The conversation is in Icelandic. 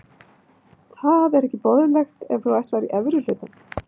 Það er ekki boðlegt ef þú ætlar í efri hlutann.